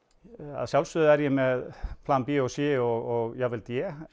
að sjálfsögðu er ég með plan b og c og jafnvel d